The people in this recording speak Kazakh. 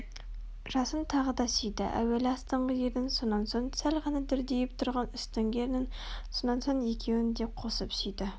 жасын тағы да сүйді Әуелі астыңғы ернін сонан соң сәл ғана дүрдиіп тұрған үстіңгі ернін сонан соң екеуін де қосып сүйді